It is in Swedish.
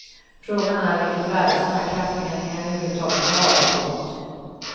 Frågan är vilket värde sådana här kraftmätningar överhuvud taget har. punkt